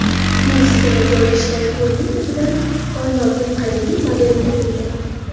Meksikada joylashgan ko‘lning tubidan koinotning qadimiy modeli topildi.